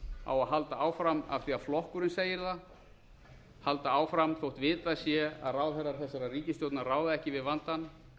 á að halda áfram af því að flokkurinn segir það halda áfram þótt vitað sé að ráðherrar þessarar ríkisstjórnar ráða ekki við vandann